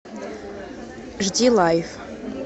жди лайф